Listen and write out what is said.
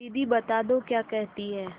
दीदी बता दो क्या कहती हैं